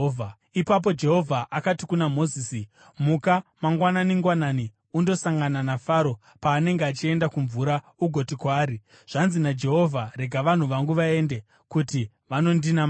Ipapo Jehovha akati kuna Mozisi, “Muka mangwanani-ngwanani undosangana naFaro paanenge achienda kumvura ugoti kwaari, ‘Zvanzi naJehovha: Rega vanhu vangu vaende, kuti vanondinamata.